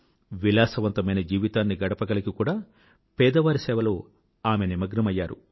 విలాసవంతమైన జీవితాన్ని గడపగలిగీ కూడా పేదవారి సేవలో నిమగ్నమైంది